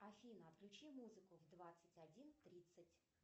афина включи музыку в двадцать один тридцать